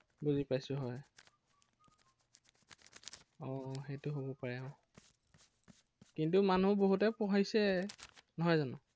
বুজি পাইছো হয়। আহ আহ সেইটো হব পাৰে আহ কিন্তু মানুহ বহুতে পঢ়িছে, নহয় জানো?